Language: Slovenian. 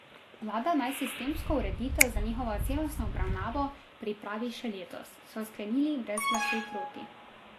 Vlada naj sistemsko ureditev za njihovo celostno obravnavo pripravi še letos, so sklenili brez glasu proti.